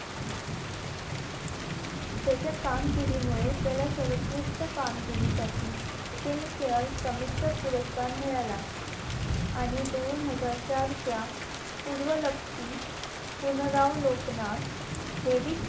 त्याच्या कामकीर्दीमुळे त्याला सर्वोत्कृष्ट कामगिरीसाठी film fair समीक्षा पुरस्कार मिळाला आणि दोन हजार चार च्या पूर्वलक्षी पुनरावलोकनात